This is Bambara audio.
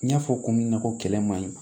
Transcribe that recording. N y'a fɔ cogo min na ko kɛlɛ ma ɲi